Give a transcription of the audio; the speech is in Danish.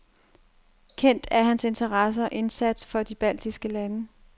Kendt er hans interesse og indsats for de baltiske lande.